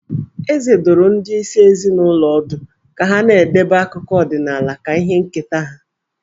Eze dụrụ ndị isi ezinụlọ ọdụ ka ha na-edebe akụkọ ọdịnaala ka ihe nketa ha.